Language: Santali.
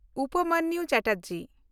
ᱩᱯᱚᱢᱚᱱᱱᱩ ᱪᱮᱴᱟᱨᱡᱤ